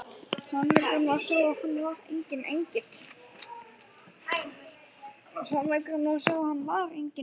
Sannleikurinn var sá að hann var enginn engill!